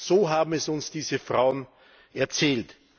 So haben es uns diese Frauen erzählt.